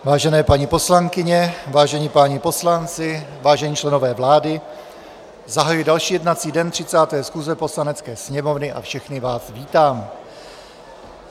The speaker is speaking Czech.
Vážené paní poslankyně, vážení páni poslanci, vážení členové vlády, zahajuji další jednací den 30. schůze Poslanecké sněmovny a všechny vás vítám.